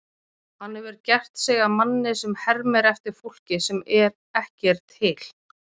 Hann hefur gert sig að manni sem hermir eftir fólki sem ekki er til.